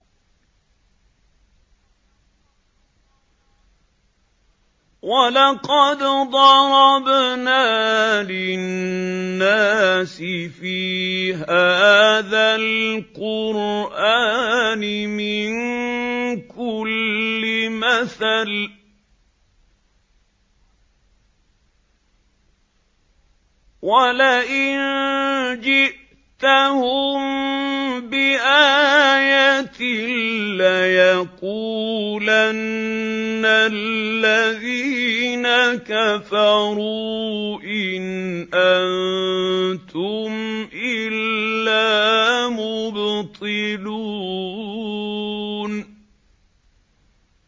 وَلَقَدْ ضَرَبْنَا لِلنَّاسِ فِي هَٰذَا الْقُرْآنِ مِن كُلِّ مَثَلٍ ۚ وَلَئِن جِئْتَهُم بِآيَةٍ لَّيَقُولَنَّ الَّذِينَ كَفَرُوا إِنْ أَنتُمْ إِلَّا مُبْطِلُونَ